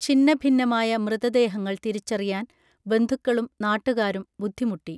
ഛിന്ന ഭിന്നമായ മൃതദേഹങ്ങൾ തിരിച്ചറിയാൻ ബന്ധുക്കളും നാട്ടുകാരും ബുദ്ധിമുട്ടി